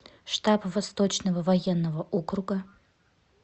штаб восточного военного округа